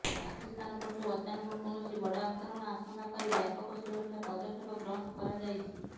ପାକିସ୍ତାନ ପଟୁ ଅଚାନକ କୌଣସି ବଡ଼ ଆକ୍ରମଣ ଆଶଙ୍କା କରି ବ୍ୟାପକ ସୁରକ୍ଷା ପଦକ୍ଷେପ ଗ୍ରହଣ କରାଯାଇଛି